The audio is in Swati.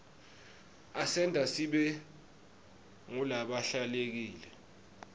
asenta sibe ngulabahlelekile